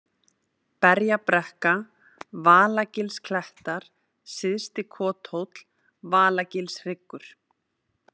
Berjabrekka, Valagilsklettar, Syðsti-Kothóll, Valagilshryggur